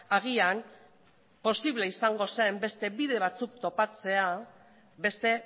agian posible izango zen beste bide batzuk topatzea beste